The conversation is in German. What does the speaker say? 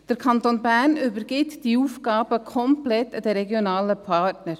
Der Kanton Bern übergibt diese Aufgaben komplett den regionalen Partnern.